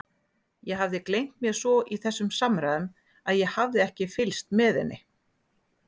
Ég hafði gleymt mér svo í þessum samræðum að ég hafði ekki fylgst með henni.